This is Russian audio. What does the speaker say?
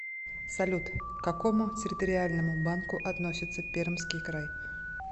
салют к какому территориальному банку относится пермский край